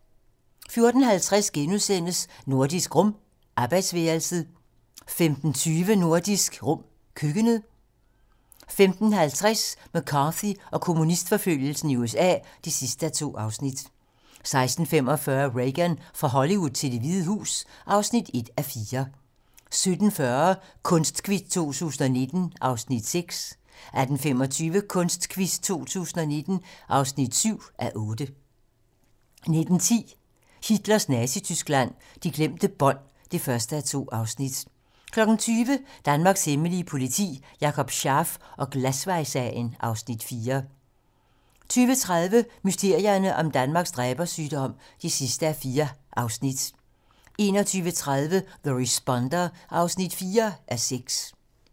14:50: Nordisk Rum - arbejdsværelset * 15:20: Nordisk Rum - køkkenet 15:50: McCarthy og kommunistforfølgelsen i USA (2:2) 16:45: Reagan - fra Hollywood til Det Hvide Hus (1:4) 17:40: Kunstquiz 2019 (6:8) 18:25: Kunstquiz 2019 (7:8) 19:10: Hitlers Nazityskland: De glemte bånd (1:2) 20:00: Danmarks hemmelige politi: Jakob Scharf og Glasvejssagen (Afs. 4) 20:30: Mysterierne om Danmarks dræbersygdomme (4:4) 21:30: The Responder (4:6)